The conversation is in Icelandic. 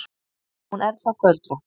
Hún er þá göldrótt!